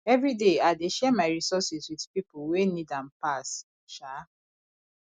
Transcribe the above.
every day i dey share my resources with people wey need am pass um